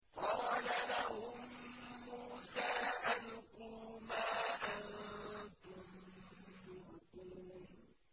قَالَ لَهُم مُّوسَىٰ أَلْقُوا مَا أَنتُم مُّلْقُونَ